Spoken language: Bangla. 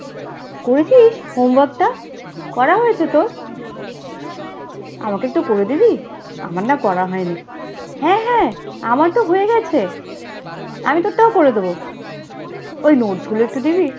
করেছিস homework টা? করা হয়েছে তোর? আমাকে একটু করে দিবি? আমার না করা হয়নি। হ্যাঁ হ্যাঁ, আমার তো হয়ে গেছে, আমি তোরটাও করে দেবো। ওই notes গুলো একটু দিবি?